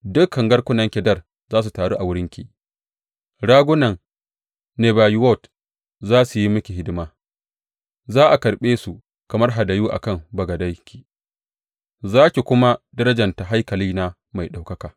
Dukan garkunan Kedar za su taru a wurinki ragunan Nebayiwot za su yi miki hidima; za a karɓe su kamar hadayu a kan bagadenki, zan kuma darjanta haikalina mai ɗaukaka.